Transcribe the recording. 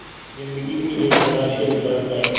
ज़िन्दगी भी एक बड़ा सिरदर्द है